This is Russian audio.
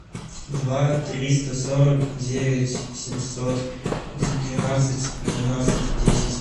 два триста сорок девять семьсот двенадцать двенадцать десять